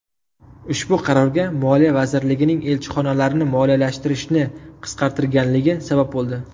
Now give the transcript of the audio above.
Ushbu qarorga Moliya vazirligining elchixonalarni moliyalashtirishni qisqartirganligi sabab bo‘ldi.